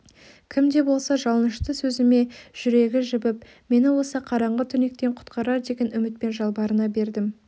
кім де болса жалынышты сөзіме жүрегі жібіп мені осы қараңғы түнектен құтқарар деген үмітпен жалбарына бердім